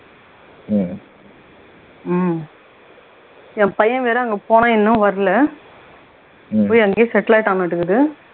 உம் என் பையன் வேற அங்க போனான் இன்னும் வரல போய் அங்கேயே settle ஆயிட்டான்னாட்டுருக்குது